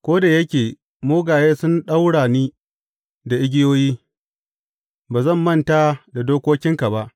Ko da yake mugaye sun ɗaura ni da igiyoyi, ba zan manta da dokokinka ba.